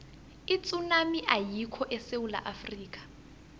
itsunami ayikho esewula afrika